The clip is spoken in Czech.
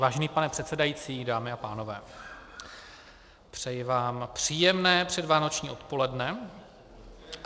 Vážený pane předsedající, dámy a pánové, přeji vám příjemné předvánoční odpoledne.